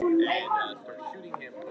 Hvað vill fólk meira?